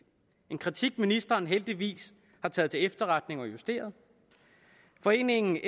en kritik ministeren heldigvis har taget til efterretning og justeret foreningen